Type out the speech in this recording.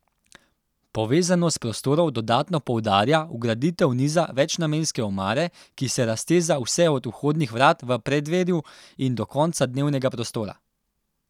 Povezanost prostorov dodatno poudarja vgraditev niza večnamenske omare, ki se razteza vse od vhodnih vrat v preddverju in do konca dnevnega prostora.